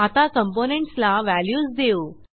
आता कॉम्पोनेंट्स ला व्हॅल्यूज देऊ